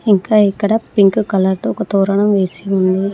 ఇంకా ఇక్కడ pink colour తో ఒక తోరణం వేసి ఉంది.